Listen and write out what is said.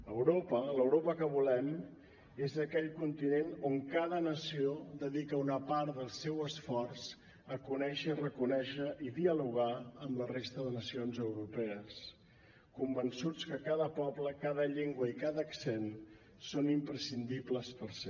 europa l’europa que volem és aquell continent on cada nació dedica una part del seu esforç a conèixer i reconèixer i dialogar amb la resta de nacions europees convençuts que cada poble cada llengua i cada accent són imprescindibles per ser